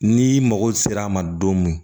N'i mago sera a ma don min